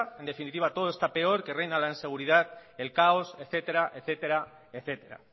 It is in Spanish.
en definitiva todo está peor que reina la inseguridad el caos etcétera etcétera etcétera